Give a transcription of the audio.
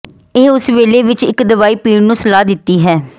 ਇਹ ਉਸੇ ਵੇਲੇ ਵਿੱਚ ਇੱਕ ਦਵਾਈ ਪੀਣ ਨੂੰ ਸਲਾਹ ਦਿੱਤੀ ਹੈ